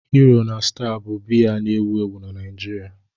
Hero na Star bụ biya na-ewu ewu na Nigeria.